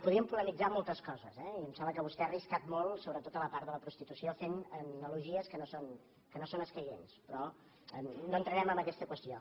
podríem polemitzar en moltes coses eh i em sembla que vostè ha arriscat molt sobretot a la part de la prostitució fent analogies que no són escaients però no entrarem en aquesta qüestió